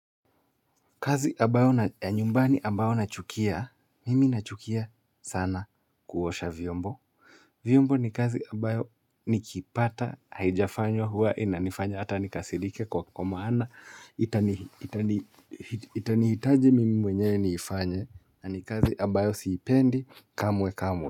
Kazi aabayo na nyumbani ambayo na chukia, mimi na chukia sana kuosha vyombo viombo ni kazi ambayo nikipata, haijafanywa huwa inanifanya hata nikasirike kwa maana itani itani itani hitaji mimi mwenye niifanye kazi ambayo si pendi kamwe kamwe.